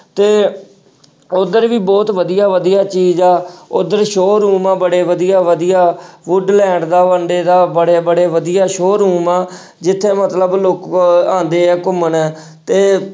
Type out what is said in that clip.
ਤੇ ਉੱਧਰ ਵੀ ਬਹੁਤ ਵਧੀਆ ਵਧੀਆ ਚੀਜ਼ ਆ ਉੱਧਰ showroom ਆ ਬੜੇ ਵਧੀਆ ਵਧੀਆ ਵੁਡਲੈਂਡ ਦਾ ਦਾ ਬੜੇ ਬੜੇ ਵਧੀਆ showroom ਆ ਜਿੱਥੇ ਮਤਲਬ ਲੋਕ ਆਉਂਦੇ ਆ ਘੁੰਮਣ ਤੇ